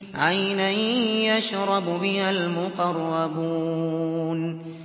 عَيْنًا يَشْرَبُ بِهَا الْمُقَرَّبُونَ